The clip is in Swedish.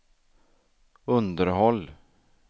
underhåll